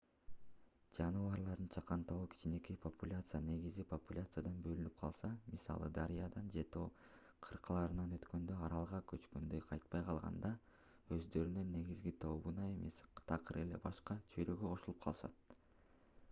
жаныбарлардын чакан тобу кичинекей популяция негизги популяциядан бөлүнүп калса мисалы дарыядан же тоо кыркаларынан өткөндө аралга көчкөндө кайтпай калганда өздөрүнүн негизги тобуна эмес такыр эле башка чөйрөгө кошулуп калышат